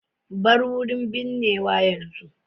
Bar wurin binnewa yanzu.